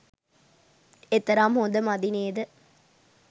එතරම් හොඳ මදි නේද.